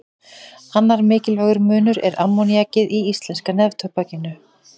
Annar mikilvægur munur er ammoníakið í íslenska neftóbakinu.